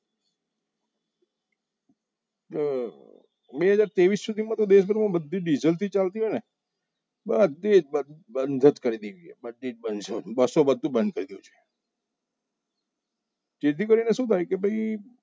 બે હજાર તેવીસ માં બધી ડીઝલ થી ચાલતી હોય ને બધી બંધ જ કરી દેવી જોઈએ બસો બધું બંધ કરી દેવું જેથી કરીને શું થાય કે ભાઈ